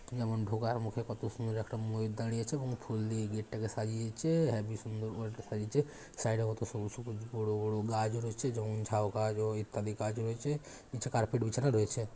যেমন ঢোকার মুখে কত সুন্দর একটা ময়ূর দাঁড়িয়ে আছে এবং ফুল দিয়ে গেট -টাকে সাজিয়েছে হেবি সুন্দর করে এটা সাজিয়েছে সাইড -এ কত সবুজ সবুজ বড়ো বড়ো গাছ রয়েছে যেমন ঝাও গাছ ও ইত্যাদি গাছ রয়েছে নিচে কার্পেট বিছানো রয়েছে।